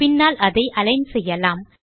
பின்னால் அதை அலிக்ன் செய்யலாம்